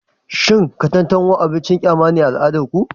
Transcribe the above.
Cin katantanwa abin kyama ne a al'adar ku?